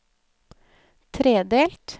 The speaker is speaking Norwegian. tredelt